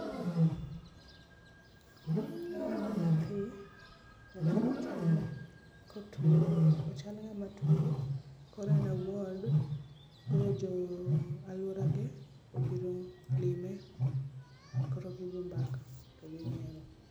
Aneno nyathi, nyathino chal kotuo, ochal ngama tuo, koro en e ward, koro jo alworage obiro lime koro gigo mbaka.